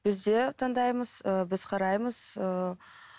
біз де таңдаймыз ыыы біз қараймыз